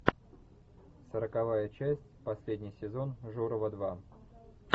сороковая часть последний сезон журова два